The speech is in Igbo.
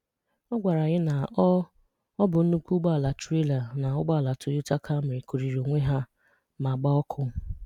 Ọ gwàrà anyị na ọ ọ bụ ńnukwu ụgbọ̀ala trailer na ụgbọ̀ala Toyota Camry kụ̀rìrì onwe ha ma gbàà ọkụ